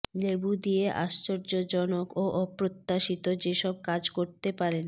লেবু দিয়ে আশ্চর্যজনক ও অপ্রত্যাশিত যেসব কাজ করতে পারেন